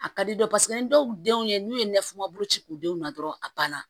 A ka di dɔw paseke ni dɔw denw ye n'u ye nɛnfu boloci k'u denw na dɔrɔn a ban na